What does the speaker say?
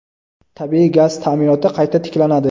tabiiy gaz ta’minoti qayta tiklanadi.